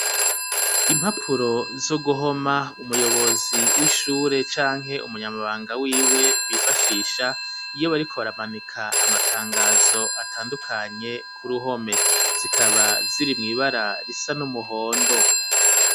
Impapuro zo guhoma umuyobozi w'ishure canke umunyamabanga wiwe bifashisha iyo bariko baramanika amatangazo atandukanye ku ruhome zikaba ziri mw'ibara risa n'umuhondo.